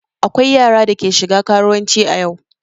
Akwai yara da ke shiga karuwanci a yau.